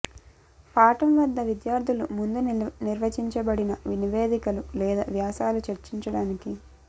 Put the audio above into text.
పాఠం వద్ద విద్యార్థులు ముందు నిర్వచించబడిన నివేదికలు లేదా వ్యాసాల చర్చించడానికి